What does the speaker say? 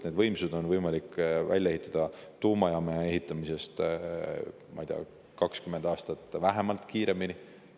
Need võimsused on võimalik välja ehitada tuumajaama ehitamisest vähemalt 20 aastat kiiremini.